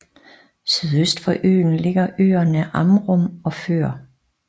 Sydøst for øen ligger øerne Amrum og Før